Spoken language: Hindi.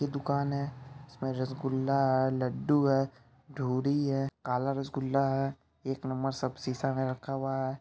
ये दुकान है | इसमें रसगुल्ला है लड्डू है धूली है काला रसगुल्ला है | एक नंबर सब शीशा में रखा हुआ है।